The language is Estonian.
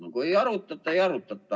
No kui ei arutata, siis ei arutata.